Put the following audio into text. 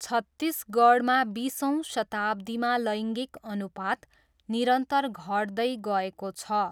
छत्तिसगढमा बिसौँ शताब्दीमा लैङ्गिक अनुपात निरन्तर घट्दै गएको छ।